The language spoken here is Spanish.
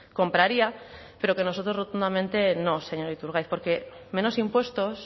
compraría pero que nosotros rotundamente no señor iturgaiz porque menos impuestos